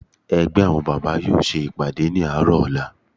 Ẹgbẹ́ àwọn bábà yóò ṣe ìpàdé ní àárọ̀ ọ̀la